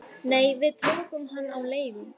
Nei, við tókum hann á leigu